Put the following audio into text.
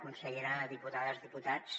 consellera diputades diputats